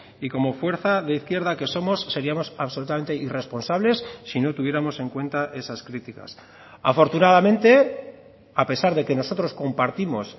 y como fuerza de izquierda que somos seríamos absolutamente irresponsables si no tuviéramos en cuenta esas críticas afortunadamente a pesar de que nosotros compartimos